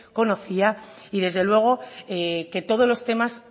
conocía y desde luego que todos los temas